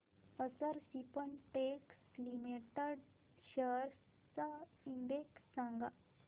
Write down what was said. अक्षर Spintex limited shares चा index सांगा